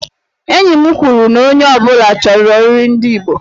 Enyi m kwuru na onye ọ bụla chọrọ nri ndị igbo.